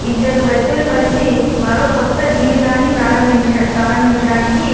ఇద్దరు వ్యక్తులు కలిసి మరో కొత్త జీవితాన్ని ప్రారంబ ప్రారంభించడానికి --